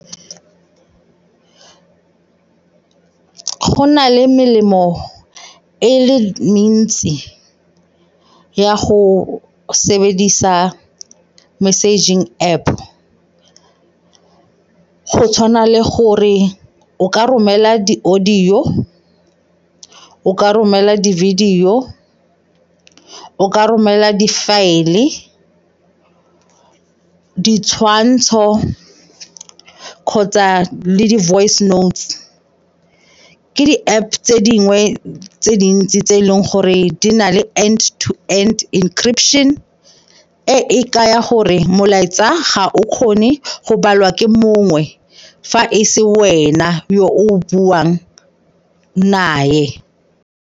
Go na le melemo e le mentsi ya go sebedisa messaging App go tshwana le gore o ka romela di-audio, o ka romela di-video o ka romela di-file-e, ditshwantsho kgotsa le di-voice note-u. Ke di-App tse dingwe tse dintsi tse e leng gore di na le and to and encryption, e e kaya gore molaetsa ga o kgone go balwa ke mongwe fa e se wena yo o buang naye.